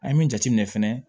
An ye min jateminɛ fɛnɛ